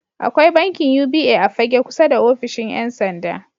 Akwai bankin UBA a Fagge kusa da offishin 'yansanda.